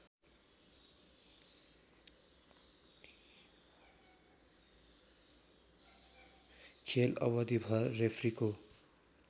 खेल अवधिभर रेफ्रीको